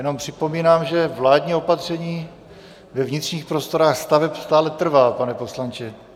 Jenom připomínám, že vládní opatření ve vnitřních prostorách staveb stále trvá, pane poslanče.